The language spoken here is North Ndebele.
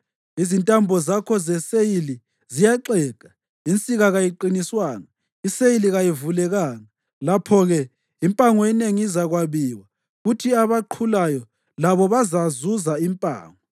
Izintambo zakho zeseyili ziyaxega. Insika kayiqiniswanga; iseyili kayivulekanga. Lapho-ke impango enengi izakwabiwa kuthi labaqhulayo labo bazazuza impango.